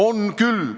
On küll.